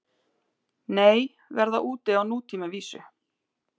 Nei, verða úti á nútímavísu